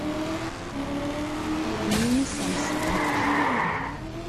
пельмени сам самыч